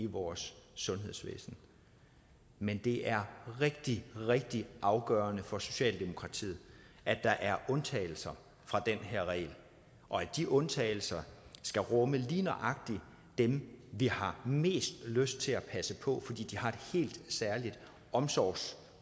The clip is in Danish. vores sundhedsvæsen men det er rigtig rigtig afgørende for socialdemokratiet at der er undtagelser fra den her regel og at de undtagelser skal rumme lige nøjagtig dem vi har mest lyst til at passe på fordi de har en helt særlig omsorgs